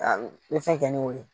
A bɛ fɛn kɛ n'o ye